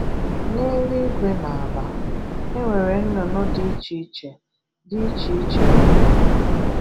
N'eluigwe na ala, e nwere nnụnụ dị iche iche dị iche iche n'ụwa